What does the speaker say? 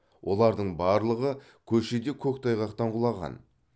олардың барлығы көшеде көктайғақтан құлаған